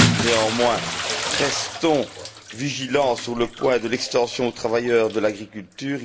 Néanmoins, restons vigilants sur le point de l'extension aux travailleurs de l'agriculture.